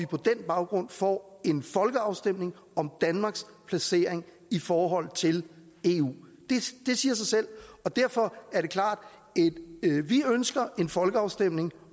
på den baggrund får en folkeafstemning om danmarks placering i forhold til eu det siger sig selv derfor er det klart at vi ønsker en folkeafstemning